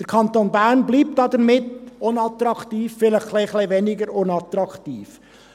Der Kanton Bern bleibt damit unattraktiv, vielleicht ein bisschen weniger unattraktiv.